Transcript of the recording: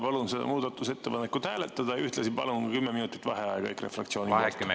Palun seda muudatusettepanekut hääletada ja ühtlasi palun 10 minutit vaheaega EKRE fraktsiooni nimel.